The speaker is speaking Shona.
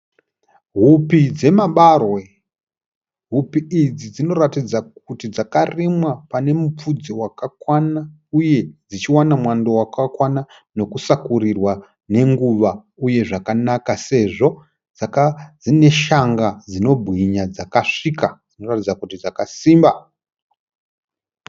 Hupi dzemabarwe. Hupi idzi dzinoratidza kuti dzakarimwa pane mupfudze wakakwana uye dzichiwana mwando wakakwana nekusakurirwa nenguva uye zvakanaka sezvo dzine shanga dzinobwinya dzakasvika dzinoratidza kuti dzakasimba.